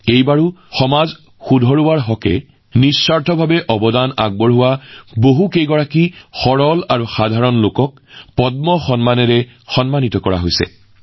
এইবাৰো এনে একাংশ লোকক পদ্ম বঁটা প্ৰদান কৰা হৈছে যিসকলে তৃণমূলৰ সৈতে সংযোগ স্থাপন কৰি সমাজত বৃহৎ পৰিৱৰ্তন আনিবলৈ কাম কৰিছে